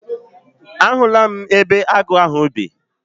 A hụla m ebe agụ ahụ bi.